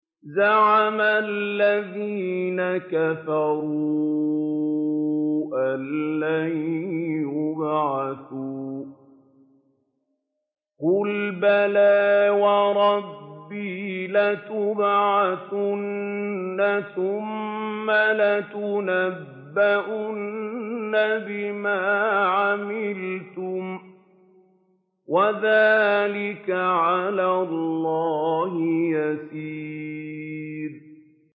زَعَمَ الَّذِينَ كَفَرُوا أَن لَّن يُبْعَثُوا ۚ قُلْ بَلَىٰ وَرَبِّي لَتُبْعَثُنَّ ثُمَّ لَتُنَبَّؤُنَّ بِمَا عَمِلْتُمْ ۚ وَذَٰلِكَ عَلَى اللَّهِ يَسِيرٌ